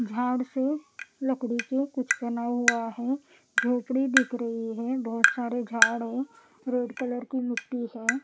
झाड़ से लकड़ी के कुछ बना हुआ है झोपड़ी दिख रही है बहुत सारे झाड़ है रेड कलर की मिट्टी है।